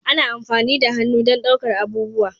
Ana amfani da hannu don ɗaukar abubuwa